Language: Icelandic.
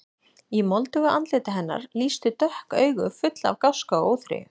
Í moldugu andliti hennar lýstu dökk augu, full af gáska og óþreyju.